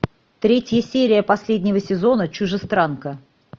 третья серия последнего сезона чужестранка